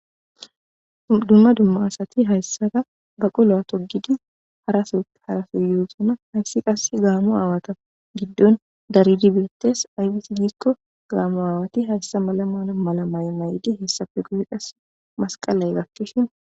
Dumma dumma asati hayssaa ba qoloa togidi aoharaso yuhosoma hayssi qass gaamo aawata giddon daridi birattes aybes gikko gaamo aawati hayssa malamana mala may may7di hessafe gode qas masqalay gakkishin